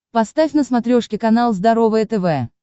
поставь на смотрешке канал здоровое тв